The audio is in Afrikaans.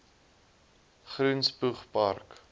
groen spoeg park